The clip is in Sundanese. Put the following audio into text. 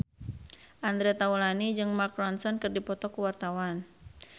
Andre Taulany jeung Mark Ronson keur dipoto ku wartawan